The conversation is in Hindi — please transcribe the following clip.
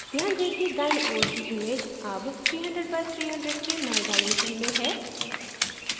ध्यान दें कि दाईं ओर की image अब 300 by 300 के नये डाइमेंसन में है